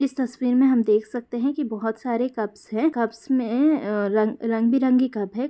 इस तस्वीर में हम देख सकते हैं कि बहुत सारे कप्स हैं कप्स अ में रंग-बिरंगे कप है।